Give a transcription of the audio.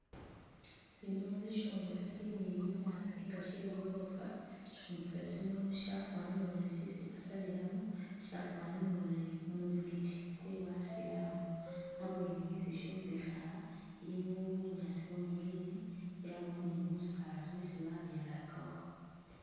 Sino sisyombekhe similiyu nabi nga sye i'gorofa. Sisyombekhe sino syafwanile uri isi basabilamu, syafwanile uri kumuzigiti kwe basilamu. Abweni eh sisyombekhe aha iliwo bunyaasi bwa green yabawo ni busaala bwesi babyalakawo.